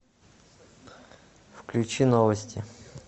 включи новости